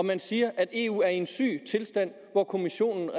man siger at eu er i en syg tilstand og at kommissionen